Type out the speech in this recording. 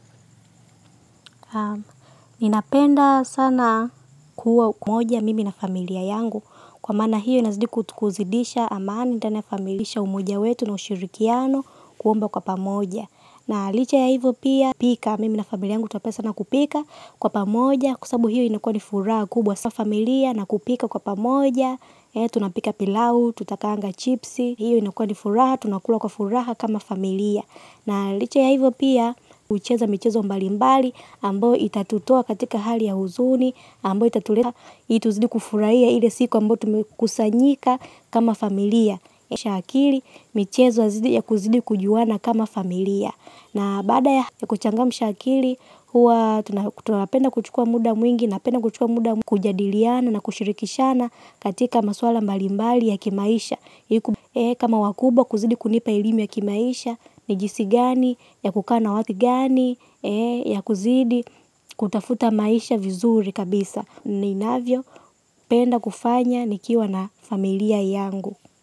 Ninapenda sana kuwa moja mimi na familia yangu. Kwa maana hiyo inazidi kutuzidisha amani tena ya familimisha umoja wetu na ushirikiano kuomba kwa pamoja. Na licha ya hivo pia pika mimi na familia yangu tunapenda sana kupika kwa pamoja. Kwa sababu hiyo inakuwa ni furaha kubwa sana kwa familia na kupika kwa pamoja. Tunapika pilau, tutakaanga chipsi. Hiyo inakuwa ni furaha, tunakula kwa furaha kama familia. Na licha ya hivo pia hucheza michezo mbalimbali. Ambao itatutoa katika hali ya huzuni. Ambao itatuleta ili tuzidi kufurahia ile siku ambao tumekusanyika kama familia. Kuamsha akili michezo ya zidi ya kuzidi kujuana kama familia. Na baada ya kuchangamsha akili huwa tunapenda kuchukua muda mwingi na penda kuchukua muda mwingi. Kujadiliana na kushirikishana katika maswala mbali mbali ya kimaisha. Kama wakubwa kuzidi kunipa elimu ya kimaisha. Nijinsi gani ya kukaa na watu gani. Ya kuzidi kutafuta maisha vizuri kabisa ninavyo penda kufanya nikiwa na familia yangu.